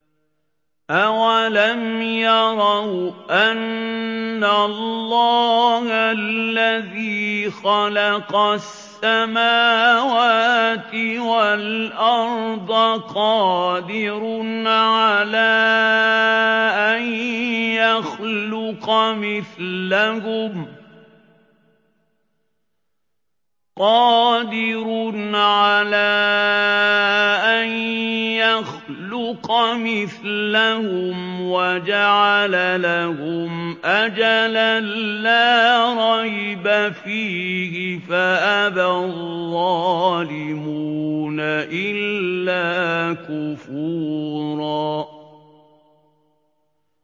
۞ أَوَلَمْ يَرَوْا أَنَّ اللَّهَ الَّذِي خَلَقَ السَّمَاوَاتِ وَالْأَرْضَ قَادِرٌ عَلَىٰ أَن يَخْلُقَ مِثْلَهُمْ وَجَعَلَ لَهُمْ أَجَلًا لَّا رَيْبَ فِيهِ فَأَبَى الظَّالِمُونَ إِلَّا كُفُورًا